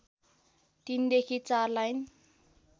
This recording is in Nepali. ३ देखि ४ लाइन